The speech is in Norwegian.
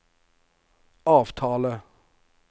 avtale